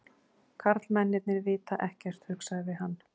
Karlmennirnir vita ekkert, hugsaði hann.